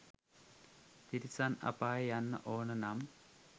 තිරිසන් අපායේ යන්න ඕන නම්